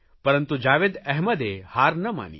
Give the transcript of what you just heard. પરંતુ જાવેદ અહેમદે હાર ન માની